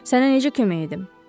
Sənə necə kömək edim?